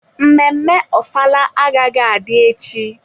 Mmemme ofala agaghị adị echi.